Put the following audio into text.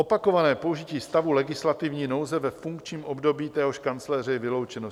Opakované použití stavu legislativní nouze ve funkčním období téhož kancléře je vyloučeno.